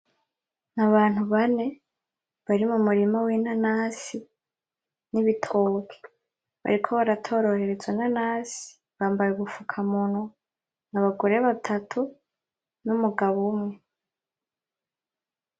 Abantu bane bari mu murima w'inanasi n'ibitoki bariko baratororera izo nanasi bambaye ubufuka munwa n'abagore batatu n'umugabo umwe.